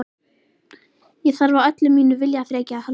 Ég þarf á öllu mínu viljaþreki að halda.